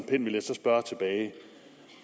vil jeg så spørge tilbage